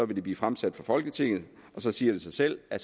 vil det blive fremsat for folketinget og så siger det sig selv at